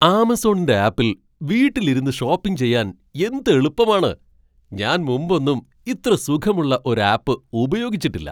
ആമസോണിൻ്റെ ആപ്പിൽ വീട്ടിൽ ഇരുന്ന് ഷോപ്പിംഗ് ചെയ്യാൻ എന്ത് എളുപ്പമാണ്, ഞാൻ മുമ്പൊന്നും ഇത്ര സുഖമുള്ള ഒരു ആപ്പ് ഉപയോഗിച്ചിട്ടില്ല!